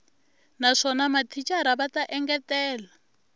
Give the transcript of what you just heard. naswona mathicara va ta engetela